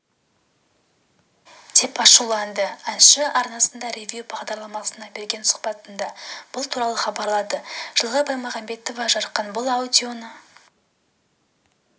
деп ашуланды әнші арнасының ревю бағдарламасына берген сұхбатында бұл туралы хабарлады жылғы баймағамбетова жарқын бұл аудионы